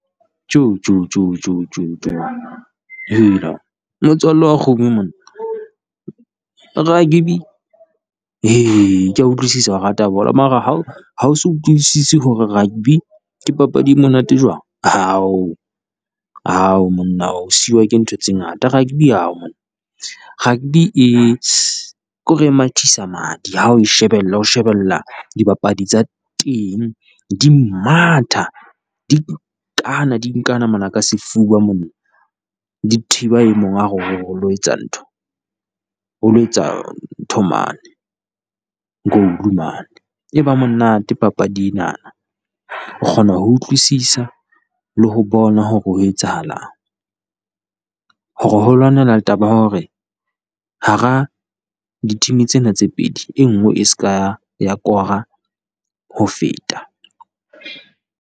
Tjo tjo tjo tjo tjo tjo, hela motswalle wa kgomo monna rugby, kea utlwisisa o rata bolo, mara ha o ha o so utlwisise hore rugby ke papadi e monate jwang. Hao hao monna o siwa ke ntho tse ngata, rugby hao monna rugby e ke hore e mathisa madi ha o shebella o shebella dibapadi tsa teng di matha, di nkana di nkana mona ka sefuba monna. Di thiba e mong a re o re o lo etsa ntho, o lo etsa ntho mane, goal mane, e ba monate papadi enana. O kgona ho utlwisisa le ho bona hore ho etsahalang, hore ho lwanelwa taba ya hore hara di team-e tsena tse pedi e nngwe e se ka ya kora ho feta.